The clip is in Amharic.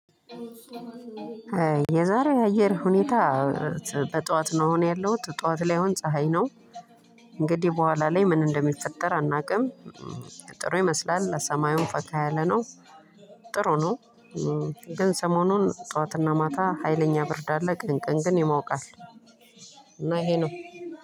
የዛሬ አየር ሁኔታ በጧት ነው አሁን ያለሁት ጧት ላይ የሆን ፀሀይ ነው። እንግዲህ በኋላ ላይ ምን እንደሚፈጠር አናውቅም። ጥሩ ይመስላል በሰማዩም ፈካ ያለ ነው። ጥሩ ነው። ግን ሰሞኑን ጠዋትና ማታ ሀይለኛ ብርድ አለ ቀን ቀን ግን ይሞቃል። እና ይሄ ነው።